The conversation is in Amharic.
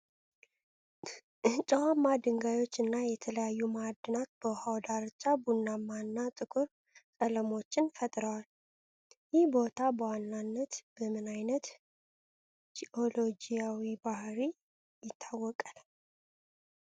ጨዋማ ድንጋዮች እና የተለያዩ ማዕድናት በውሃው ዳርቻ ቡናማ እና ጥቁር ቀለሞችን ፈጥረዋል። ይህ ቦታ በዋናነት በምን ዓይነት ጂኦሎጂያዊ ባህርይ ይታወቃል?